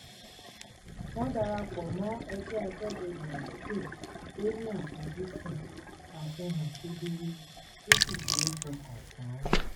wọ́n darapọ̀ mọ́ ẹgbẹ́ aṣọ́bodè àdúgbò tó ní àfoj́sùn àfihàn kedere tó sì ṣe é fọkàn tán